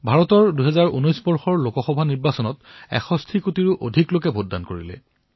ভাৰতত ২০১৯ চনৰ লোকসভা নিৰ্বাচনত ৬১ কোটিতকৈও অধিক লোকে ভোটদান কৰিছে